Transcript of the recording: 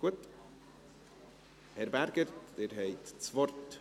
Gut, Herr Berger, Sie haben das Wort.